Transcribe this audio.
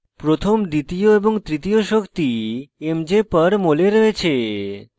প্রথম দ্বিতীয় এবং তৃতীয় শক্তি mj/mol এ রয়েছে